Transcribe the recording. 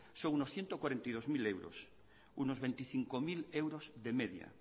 son unos ciento cuarenta y dos mil euros unos veinticinco mil euros de media